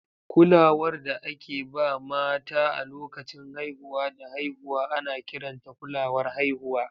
Kulawar da ake ba mata a lokacin haihuwa da haihuwa ana kiranta kulawar haihuwa.